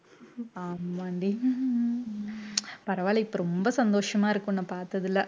ஆமான்டி பரவாயில்லை இப்ப ரொம்ப சந்தோஷமா இருக்கு உன்னை பார்த்ததுல